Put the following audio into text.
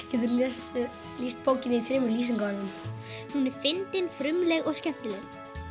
geturðu lýst bókinni í þremur lýsingarorðum hún er fyndin frumleg og skemmtileg